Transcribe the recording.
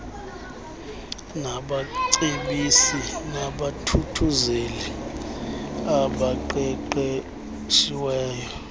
nabacebisi nabathuthuzeli abaqeqeshiweyo